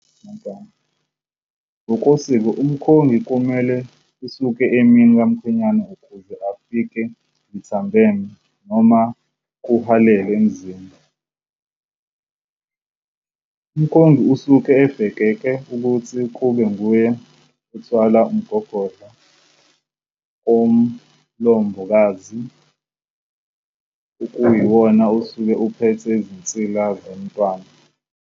Ngokosiko umkhongi kumele esuke emini kwamkhwenyana ukuze afike lithambeme noma kuhwalele emzini. Umkhongi usuke ebhekeke ukuthi kube nguye othwala umgogodla kamlobokazi okuyiwona osuke uphethe izinsila zomntwana.